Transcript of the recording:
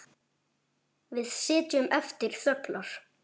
Við sitjum eftir þöglar.